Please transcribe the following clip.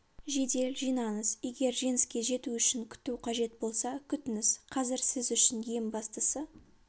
жедел жинаңыз егер жеңіске жету үшін күту қажет болса күтіңіз қазір сіз үшін ең бастысы